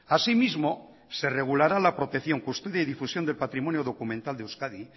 asimismo se regulará la protección custodia y difusión del patrimonio documental de euskadi